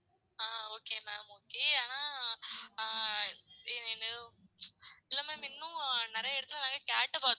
ஆஹ் okay ma'am okay ஆனா ஆஹ் இல்ல ma'am இன்னும் நெறையா இடத்துல நாங்க கேட்டு பாத்தோம்